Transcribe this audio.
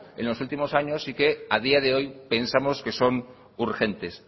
en los últimos años y que a día de hoy pensamos que son urgentes